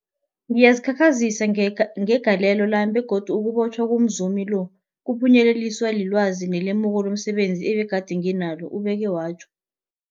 Ngazikhakhazisa ngegalelo lami, begodu ukubotjhwa komzumi lo kwaphunyeleliswa lilwazi nelemuko lomse benzi ebegade nginalo, ubeke watjho.